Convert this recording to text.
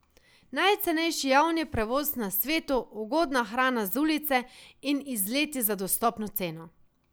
Najcenejši javni prevoz na svetu, ugodna hrana z ulice in izleti za dostopno ceno.